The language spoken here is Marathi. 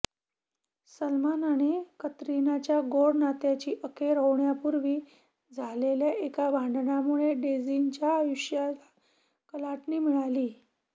सलमान आणि कतरिनाच्या गोड नात्याची अखेर होण्यापूर्वी झालेल्या एका भांडणामुळे डेझीच्या आयुष्याला कलाटणी मिळाली